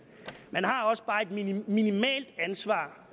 man har også bare et minimalt ansvar